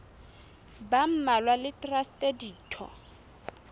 ba mmalwa le traste ditho